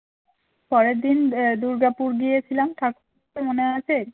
পরের দিন দুর্গাপুর গিয়েছিলাম ঠাকুর দেখতে মনে আছে?